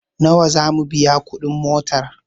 Nawa zamu biya kuɗi motar?